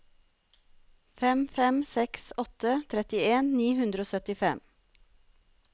fem fem seks åtte trettien ni hundre og syttifem